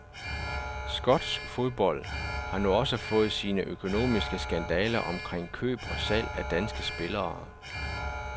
Skotsk fodbold har nu også fået sine økonomiske skandaler omkring køb og salg af danske spillere.